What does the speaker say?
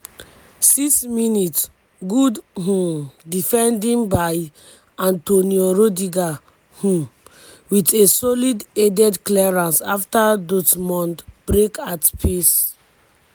6mins- good um defending by antonio rudiger um wit a solid headed clearance afta dortmund break at pace.